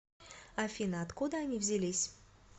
афина откуда они взялись